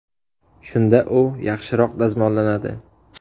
Shunda u yaxshiroq dazmollanadi.